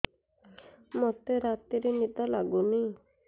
ମୋତେ ରାତିରେ ନିଦ ଲାଗୁନି